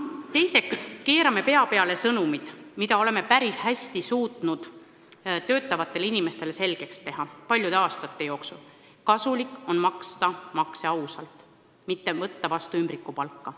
Teiseks keerame pea peale sõnumid, mida oleme paljude aastate jooksul päris hästi suutnud töötavatele inimestele selgeks teha: kasulik on ausalt makse maksta, mitte võtta vastu ümbrikupalka.